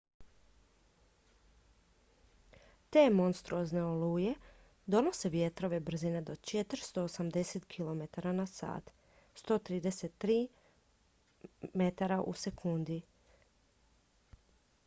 te monstruozne oluje donose vjetrove brzine do 480 km/h 133 m/s; 300 mph